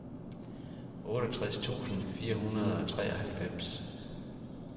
otteogtres tusind fire hundrede og treoghalvfems